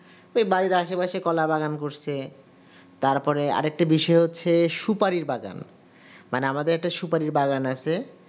ওই বাড়ির আশেপাশে কলা বাগান করছে তারপরে আর একটা বিষয় হচ্ছে সুপারির বাগান মানে আমাদের একটি সুপারির বাগান আছে